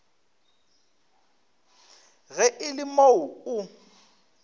ge e le moo o